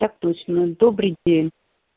так точно добрый день